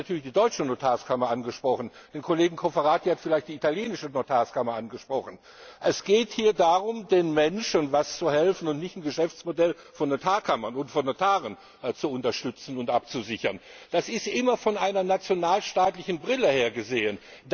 Mich hat natürlich die deutsche Notarkammer angesprochen. Den Kollegen Cofferati hat vielleicht die italienische Notarkammer angesprochen. Es geht hier darum, den Menschen zu helfen und nicht ein Geschäftsmodell von Notarkammern und Notaren zu unterstützen und abzusichern. Das ist immer durch eine nationalstaatliche Brille gesehen.